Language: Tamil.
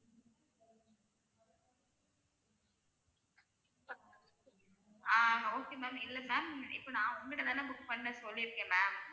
ஆஹ் okay ma'am இல்ல ma'am இப்ப நான் உங்ககிட்டதானே book பண்ண சொல்லிருக்கேன் ma'am